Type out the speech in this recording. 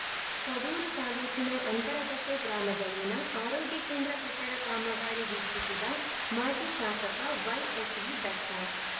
ಕಡೂರು ತಾಲೂಕಿನ ಅಂತರಘಟ್ಟೆಗ್ರಾಮದಲ್ಲಿನ ಆರೋಗ್ಯ ಕೇಂದ್ರ ಕಟ್ಟಡ ಕಾಮಗಾರಿ ವೀಕ್ಷಿಸಿದ ಮಾಜಿ ಶಾಸಕ ವೈಎಸ್‌ವಿ ದತ್ತ